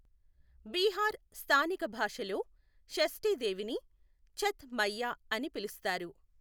బీహార్ స్థానిక భాషలో షష్ఠి దేవిని ఛత్ మైయ్యా అని పిలుస్తారు.